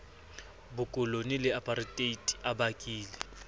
bokolone le apareteite a bakile